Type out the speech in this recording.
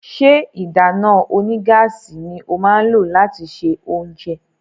ṣe ìdáná onígáàsì ní o má lo lati ṣe oúnjẹ?